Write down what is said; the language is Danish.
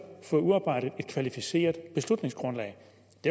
få udarbejdet et kvalificeret beslutningsgrundlag